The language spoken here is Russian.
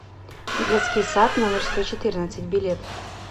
детский сад номер сто четырнадцать билет